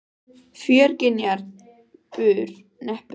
Fjörgynjar bur neppur frá naðri níðs ókvíðinn.